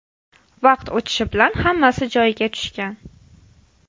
Vaqt o‘tishi bilan hammasi joyiga tushgan.